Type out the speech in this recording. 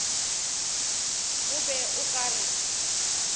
o bego o ka re